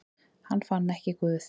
Hann fann ekki Guð.